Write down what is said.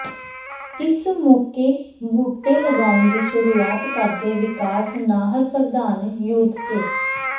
ਇਸ ਮੌਕੇ ਬੂਟੇ ਲਗਾਉਣ ਦੀ ਸ਼ੁਰੂਆਤ ਕਰਦੇ ਵਿਕਾਸ ਨਾਹਰ ਪ੍ਰਧਾਨ ਯੂਥ ਕ